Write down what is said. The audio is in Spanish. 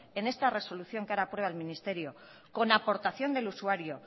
en esta resolución que ahora aprueba el ministerio con aportación del usuario